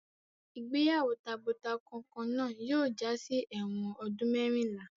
Ìgbéyàwó tabo-takọ kan náà yóò jásí ẹ̀wọ̀n ọdún mẹ́rìnlá.